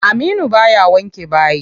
Aminu baya wanke bayi.